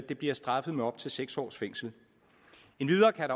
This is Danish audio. det bliver straffet med op til seks års fængsel endvidere kan